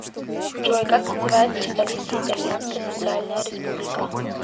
джой как называется столица итальянская социальная республика